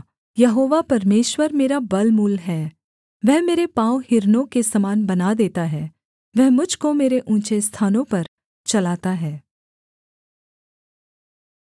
यहोवा परमेश्वर मेरा बलमूल है वह मेरे पाँव हिरनों के समान बना देता है वह मुझ को मेरे ऊँचे स्थानों पर चलाता है